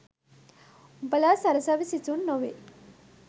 උඹලා සරසවි සිසුන් නොවෙයි